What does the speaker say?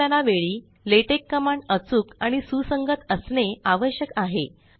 संकलना वेळी LaTeX command अचूक आणि सुसंगत असणे आवश्यक आहे